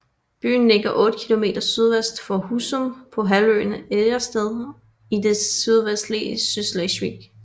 Byen ligger 8 kilometer sydvest for Husum på halvøen Ejdersted i det sydvestlige Sydslesvig